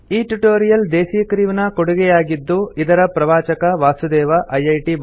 ಈ tutorial Desi crew ನ ಕೊಡುಗೆಯಾಗಿದ್ದು ಇದರ ಪ್ರವಾಚಕ ವಾಸುದೇವ ಐಐಟಿ